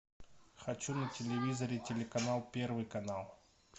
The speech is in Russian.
хочу на телевизоре телеканал первый канал